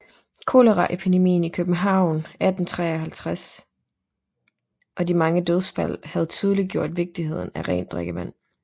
Koleraepidemien i København 1853 og de mange dødsfald havde tydeliggjort vigtigheden af rent drikkevand